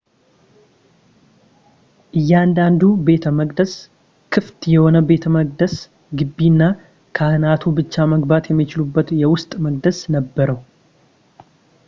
እያንዳንዱ ቤተ መቅደስ ክፍት የሆነ የቤተመቅደስ ግቢ እና ካህናቱ ብቻ መግባት የሚችሉበት የውስጥ መቅደስ ነበረው